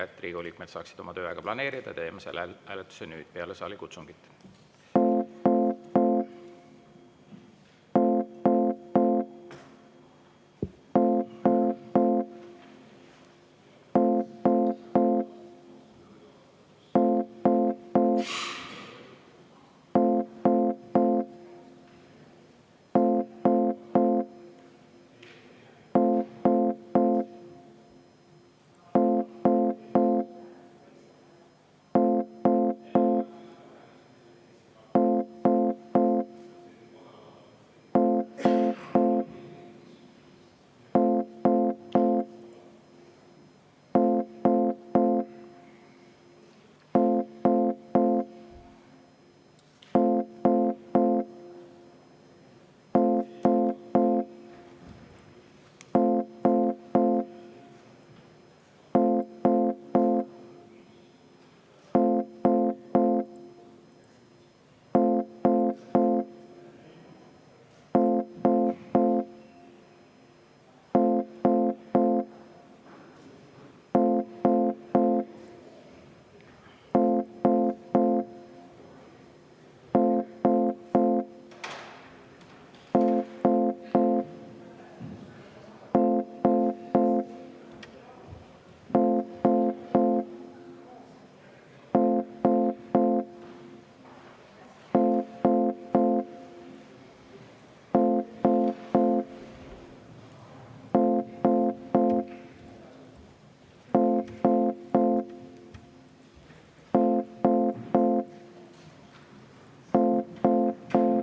Et Riigikogu liikmed saaksid oma tööaega planeerida, teeme selle hääletuse nüüd, peale saalikutsungit.